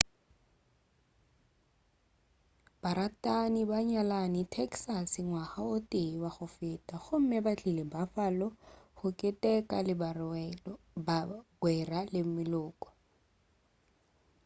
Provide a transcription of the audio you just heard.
baratani ba nyalane texas ngwaga o tee wa go feta gomme ba tlile buffalo go keteka le bagwera le meloko